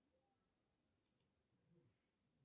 афина ну мне пора